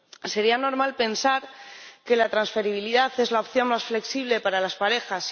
Sería normal pensar que la transferibilidad es la opción más flexible para las parejas.